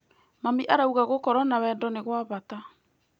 Mami arauga gũkorwo na wendo nĩ gwa bata.